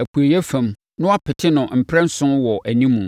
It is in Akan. apueeɛ fam na wapete no mprɛnson wɔ animu.